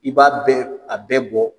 I b'a bɛɛ a bɛɛ bɔ